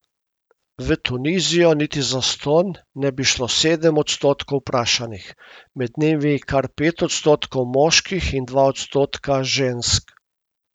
V Tunizijo niti zastonj ne bi šlo sedem odstotkov vprašanih, med njimi kar pet odstotkov moških in dva odstotka žensk.